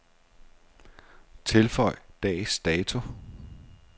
Tilføj dags dato.